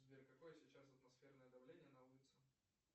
сбер какое сейчас атмосферное давление на улице